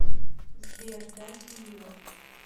сбер да сеньор